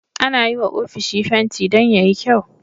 Ana yiwa ofishi fenti Dan yayi kyau